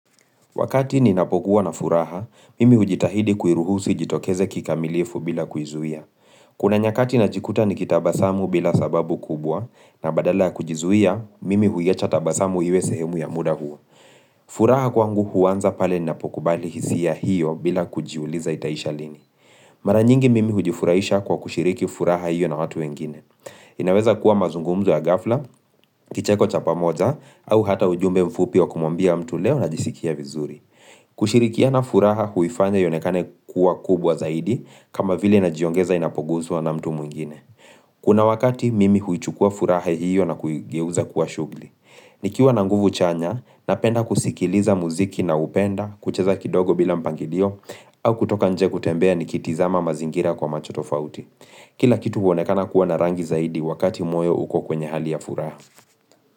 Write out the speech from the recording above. Wakati ninapokuwa na furaha, mimi hujitahidi kuiruhusu ijitokeze kikamilifu bila kuizuia. Kuna nyakati najikuta nikitabasamu bila sababu kubwa, na badala kujizuia, mimi huiacha tabasamu iwe sehemu ya muda huo. Furaha kwangu huanza pale ninapokubali hisia hiyo bila kujiuliza itaisha lini. Mara nyingi mimi hujifuraisha kwa kushiriki furaha hiyo na watu wengine. Inaweza kuwa mazungumzu ya ghafla, kicheko cha pamoja, au hata ujumbe mfupi wa kumwambia mtu leo najisikia vizuri. Kushirikiana furaha huifanya ionekane kuwa kubwa zaidi kama vile najiongeza inapoguzwa na mtu mwingine Kuna wakati mimi huichukua furaha hiyo na kuigeuza kuwa shugli nikiwa na nguvu chanya, napenda kusikiliza muziki ninaoupenda kucheza kidogo bila mpangilio au kutoka nje kutembea nikitizama mazingira kwa macho tofauti Kila kitu huonekana kuwa na rangi zaidi wakati moyo uko kwenye hali ya furaha.